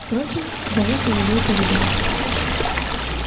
впрочем за это его и полюбила